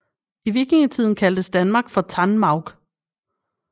I vikingetiden kaldtes Danmark for Tanmaurk